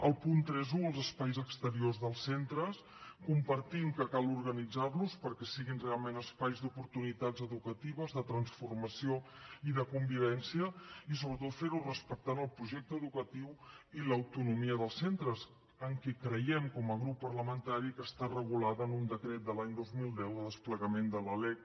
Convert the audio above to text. el punt trenta un els espais exteriors dels centres compartim que cal organitzar los perquè siguin realment espais d’oportunitats educatives de transformació i de convivència i sobretot ferho respectant el projecte educatiu i l’autonomia dels centres en què creiem com a grup parlamentari que està regulat en un decret de l’any dos mil deu de desplegament de la lec